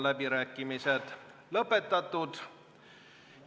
Läbirääkimised on lõppenud.